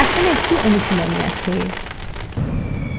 এখন একটি অনুশীলনী আছে: